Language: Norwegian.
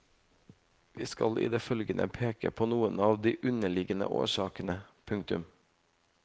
Vi skal i det følgende peke på noen av de underliggende årsakene. punktum